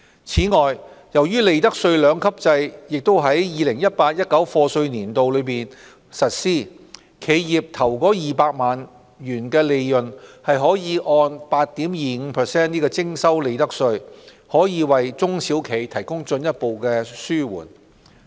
此外，由於利得稅兩級制亦於 2018-2019 課稅年度起實施，企業首200萬元的利潤可按 8.25% 徵收利得稅，這可進一步紓緩中小企的負擔。